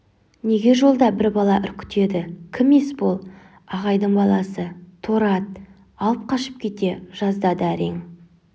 неге жолда бір бала үркітеді кім есбол ағайдың баласы торы ат алып қашып кете жаздады әрең